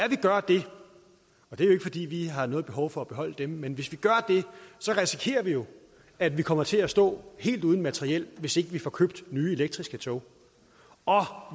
er ikke fordi vi har noget behov for at beholde dem men hvis vi gør det risikerer vi jo at vi kommer til at stå helt uden materiel hvis ikke vi får købt nye elektriske tog og